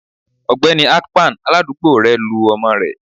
Ọgbẹni akpan, aládùúgbò rẹ, lu ọmọ rẹ